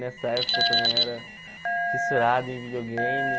Nessa época eu também era fissurado em videogame.